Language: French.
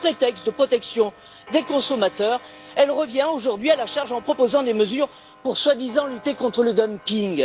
Alors, sous prétexte de protection des consommateurs, elle revient aujourd'hui à la charge en proposant des mesures pour soi disant lutter contre le dumping.